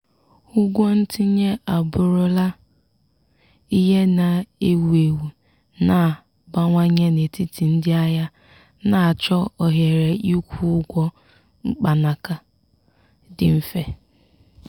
ụgwọ ntinye abụrụla ihe na-ewu ewu na-abawanye n'etiti ndị ahịa na-achọ ohere ịkwụ ụgwọ mkpanaka dị mfe.